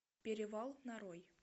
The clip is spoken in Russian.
перевал нарой